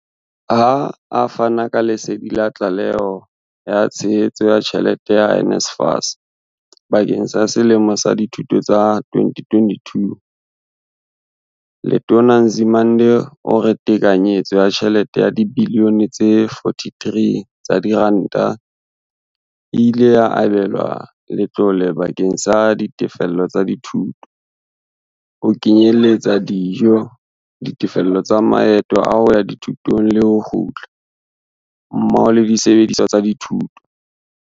Ha a fana ka lesedi la tlaleho ya tshehetso ya tjhelete ya NSFAS bakeng sa selemo sa dithuto sa 2022, Letona Nzimande o re tekanyetso ya tjhelete ya dibiliyone tse 43 tsa diranta e ile ya abelwa letlole bakeng sa ditefello tsa dithuto, ho kenyeletsa dijo, ditefello tsa maeto a hoya dithutong le ho kgutla, mmoho le disebediswa tsa thuto.